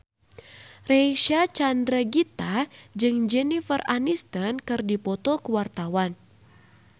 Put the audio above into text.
Reysa Chandragitta jeung Jennifer Aniston keur dipoto ku wartawan